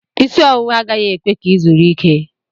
Isi ọwụwa agaghị ekwe ka ị zuru ike.